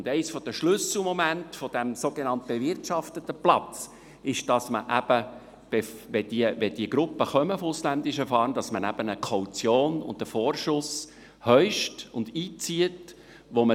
Einer der Schlüsselmomente dieses sogenannt bewirtschafteten Platzes ist, dass man eben eine Kaution, einen Vorschuss heischt und einzieht, wenn diese Gruppe ausländischer Fahrender kommt.